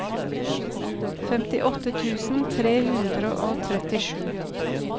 femtiåtte tusen tre hundre og trettisju